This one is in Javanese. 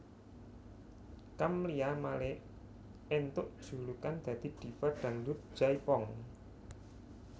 Camlia Malik entuk julukan dadi Diva Dangdut Jaipong